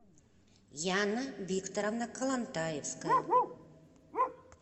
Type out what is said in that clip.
яна викторовна колонтаевская